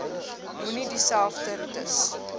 moenie dieselfde roetes